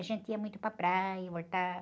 A gente ia muito para praia, voltava.